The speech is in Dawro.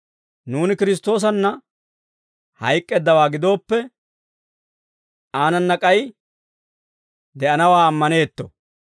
nuuni Kiristtoosanna hayk'k'eeddawaa gidooppe, aanana k'ay de'anawaa ammaneetto.